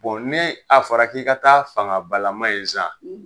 nii a fɔra k'i k' taa fangabalama ye sa